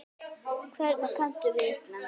Hvernig kanntu við Ísland?